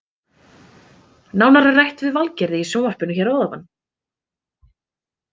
Nánar er rætt við Valgerði í sjónvarpinu hér að ofan.